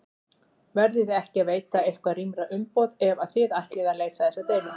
Verðiði ekki að veita eitthvað rýmra umboð ef að þið ætlið að leysa þessa deilu?